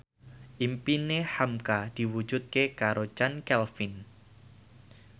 impine hamka diwujudke karo Chand Kelvin